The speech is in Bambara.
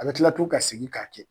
A bɛ tila tugu ka segi k'a kɛ.